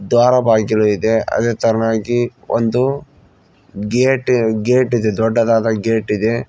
ದ್ವಾರ ಬಾಗಿಲು ಇದೆ ಅದೇ ತರನಾಗಿ ಒಂದು ಗೇಟ್ ಗೇಟ್ ಇದೆ ದೊಡ್ಡದಾ ಗೇಟ್ ಇದೆ.